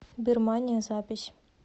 бирмания запись